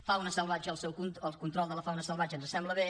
fauna salvatge el control de la fauna salvatge ens sembla bé